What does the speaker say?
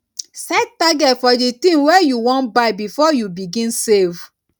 set target for di thing wey you wan buy before you begin save